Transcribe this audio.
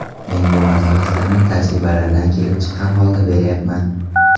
Men bu maslahatlarni tajribalardan kelib chiqqan holda berayapman.